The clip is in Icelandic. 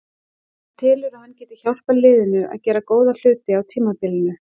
Hann telur að hann geti hjálpað liðinu að gera góða hluti á tímabilinu.